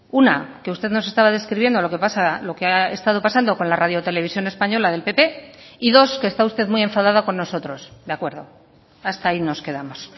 una que usted nos estaba describiendo lo que pasa lo que ha estado pasando con la radio televisión española del pp y dos que está usted muy enfadada con nosotros de acuerdo hasta ahí nos quedamos